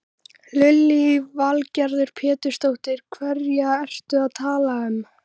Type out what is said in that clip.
Lillý Valgerður Pétursdóttir: Hverja ertu að tala um?